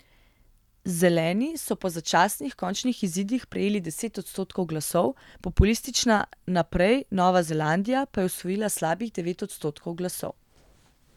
Zeleni so po začasnih končnih izidih prejeli deset odstotkov glasov, populistična Naprej Nova Zelandija pa je osvojila slabih devet odstotkov glasov.